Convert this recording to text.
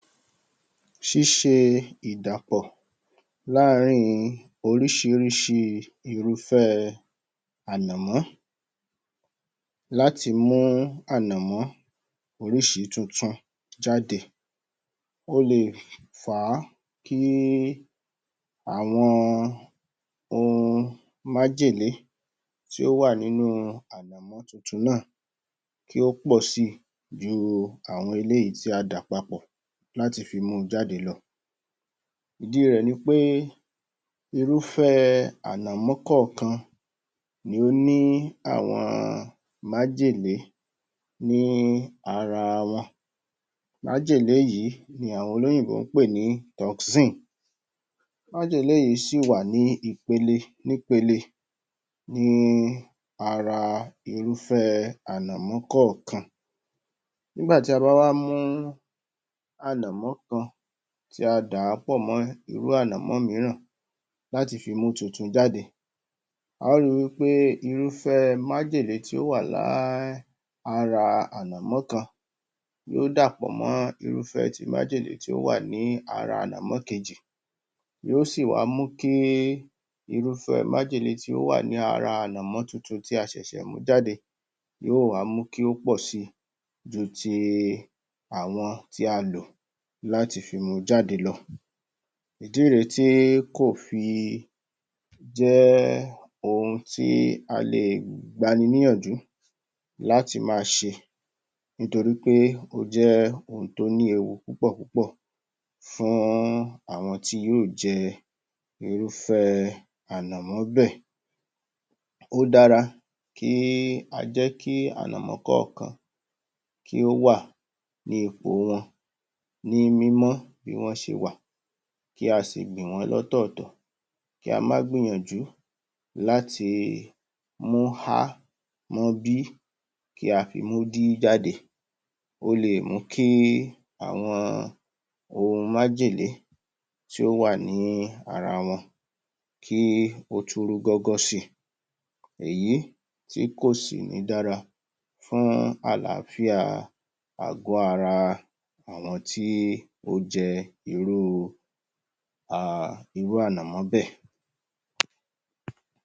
Ṣíṣe ìdàpọ̀ láàárín oríṣiríṣi irúfẹ́ ànàmọ́, láti mú ànàmọ́ oríṣi tuntun jáde. Ó le è fà á kí àwọn ohun májèlé tí ó wà nínú ànàmọ́ tuntun náà, kí ó pọ̀ si ju àwọn eléyìí tí a dà papọ̀ láti fi mu jáde lọ. Ìdí rẹ̀ ni pé irúfẹ́ ànàmọ́ kọ̀ọ̀kan ni ó ní àwọn májèlé ní ara wọn. Májèlé yìí ni àwọn Olóyìnbó ń pé ní toxin. Májèlé yìí sì wà ní ipele ní ara irúfẹ́ ànàmọ́ kọ̀ọ̀kan. Nígbà tí a bá wá mú ànàmọ́ kan, tí a dà á pọ̀ mọ́ irú ànàmọ́ mìíràn láti fi mú tuntun jáde, a ó ri wí pé irúfẹ́ májèlé tí ó wà ara ànàmọ́ kan yóó dàpọ̀ mọ́ irúfẹ́ ti májèlé tí ó wà ní ara ànàmọ́ kejì, yóó sì wá mú kí irúfẹ́ májèlé tí ó wà ní ara ànàmọ́ tuntun tí a ṣẹ̀ṣẹ̀ mú jáde, yóó wá mú kí ó pọ̀ si ju ti àwọn tí a lò láti fi mu jáde lọ. Ìdí rè é tí kò fi jẹ́ ohun tí a lè gbani níyànjú láti máa ṣe nítorí pé ó jẹ́ ohun tí ó ní ewu púpọ̀ púpọ̀ fún àwọn tí yóò jẹ irúfé ànàmọ́ bẹ́ẹ̀. Ó dára kí a jẹ́ kí ànàmọ́ kọ̀ọ̀kan, kí ó wà ní ìpò wọn ní mímọ́ bí wọ́n ṣe wà, kí a sì gbìn wọ́n lọ́tọ̀ọ̀tọ̀, kí a má gbìyànjú láti mú A mọ́ B, kí a fi mú D jáde. Ó lè mú kí àwọn ohun májèlé tí ó wà ní ara wọn kí ó tún rú gọ́gọ́ si. Èyí tí kò sì ní dára fún àlááfíà àgọ̀ ara àwọn tí ó jẹ irú um ànàmọ́ bẹ́ẹ̀.